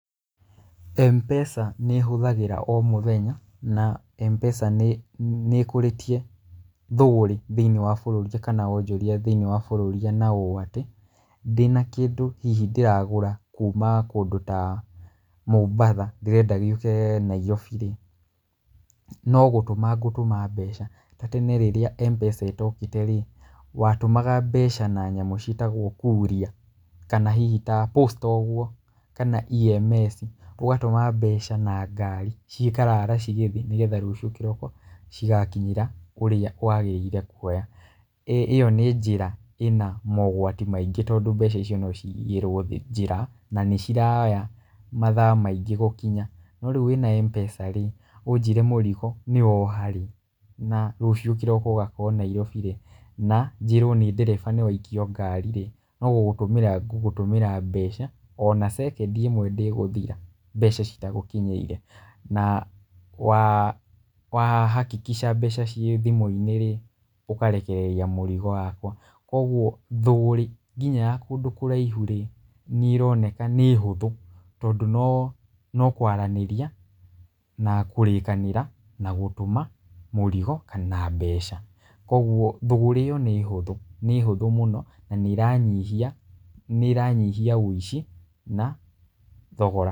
M-pesa nĩ hũthĩraga o mũthenya na M-pesa nĩ ĩkũrĩtie thũgũrĩ thĩinĩ wa bũrũri kana wonjoria thĩinĩ wa bũrũri ũũ atĩ ndĩna kĩndũ hihi ndĩragũra kuma kũndũ ta Mombasa ndĩrenda gĩũke Nairobi rĩ no gũtũma ngũtũma mbeca. Tene rĩrĩa M-pesa ĩtokĩte rĩ watũmaga mbeca na nyamũ cĩtegwo kuria kana hihi ta posta ũguo kana EMS ũgatũma mbeca na ngari cikarara cigĩthiĩ nĩ getha rũciũ kĩroko cigakinyĩra ũrĩa wagĩrĩire kuoya. ĩyo nĩ jĩra ĩna mogwati maingĩ tondũ mbeca icio no ciyĩrwo njĩra na nĩ ciroya mathaa maingĩ gũkinya. No rĩu wĩna M-pesa rĩ ũnjĩre mũrigo nĩ woha rĩ na rũciũ kĩroko ũgakorwo Nairobi rĩ na njĩrwo nĩ ndereba nĩwaikio ngari rĩ no gũgũtũmĩra ngũgũtũmĩra mbeca ona second ĩmwe ndĩgũthira mbeca citagũkinyĩire. Na wahakikisha mbeca cĩ thimũ-inĩ rĩ ũkarekereria mũrigo wakwa. Koguo mthũgũrĩ nginya ya kũndũ kũraihu rĩ nĩ ĩroneka nĩ hũthũ tondũ no kwaranĩria na kũrĩkanĩra na gũtũma mũrigo na mbeca. Koguo thũgũrĩ ĩyo nĩ hũthũ mũno na nĩ ĩranyihia ũici na thogora.